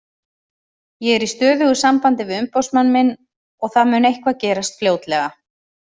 Ég er í stöðugu sambandi við umboðsmann minn og það mun eitthvað gerast fljótlega.